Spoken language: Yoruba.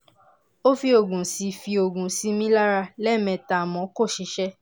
ó fi oògùn sí fi oògùn sí mi lára lẹ́ẹ̀mẹta àmọ́ kò ṣiṣẹ́